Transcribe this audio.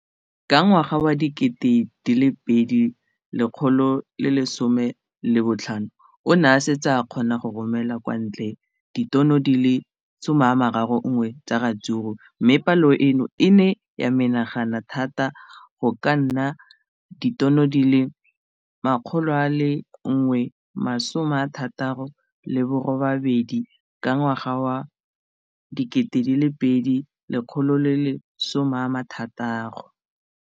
Ka ngwaga wa 2015, o ne a setse a kgona go romela kwa ntle ditone di le 31 tsa ratsuru mme palo eno e ne ya menagana thata go ka nna ditone di le 168 ka ngwaga wa 2016.